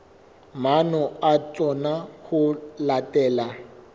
maano a tsona ho latela